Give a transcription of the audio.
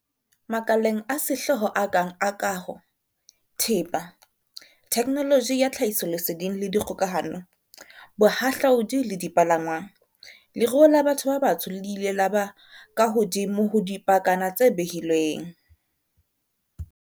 Makaleng a sehlooho a kang a kaho, thepa, theknoloji ya tlhahisoleseding le dikgokahano, bohahlaodi le dipalangwang, leruo la batho ba batsho le ile la ba ka hodimo ho dipakana tse behilweng.